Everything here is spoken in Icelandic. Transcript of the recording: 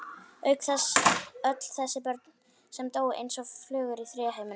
Auk þess öll þessi börn sem dóu eins og flugur í þriðja heiminum.